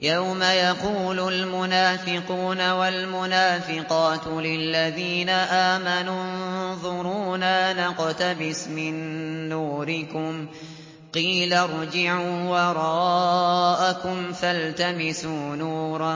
يَوْمَ يَقُولُ الْمُنَافِقُونَ وَالْمُنَافِقَاتُ لِلَّذِينَ آمَنُوا انظُرُونَا نَقْتَبِسْ مِن نُّورِكُمْ قِيلَ ارْجِعُوا وَرَاءَكُمْ فَالْتَمِسُوا نُورًا